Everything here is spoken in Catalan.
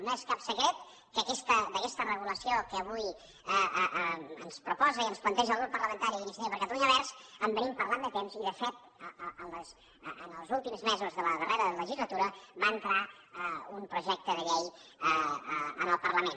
no és cap secret que d’aquesta regulació que avui ens proposa i ens planteja el grup parlamentari d’iniciativa per catalunya verds en venim parlant de temps i de fet en els últims mesos de la darrera legislatura va entrar un projecte de llei en el parlament